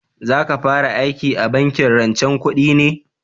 Za ka fara aiki a bankin rancen kudi ne?